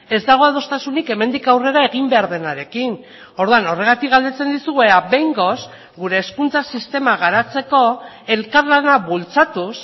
ez dago adostasunik hemendik aurrera egin behar denarekin orduan horregatik galdetzen dizugu ea behingoz gure hezkuntza sistema garatzeko elkarlana bultzatuz